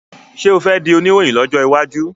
ṣe o fè dì Oníròhìn lójó waju?